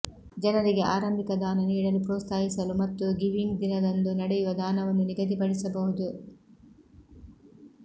ಜನರಿಗೆ ಆರಂಭಿಕ ದಾನ ನೀಡಲು ಪ್ರೋತ್ಸಾಹಿಸಲು ಮತ್ತು ಗಿವಿಂಗ್ ದಿನದಂದು ನಡೆಯುವ ದಾನವನ್ನು ನಿಗದಿಪಡಿಸಬಹುದು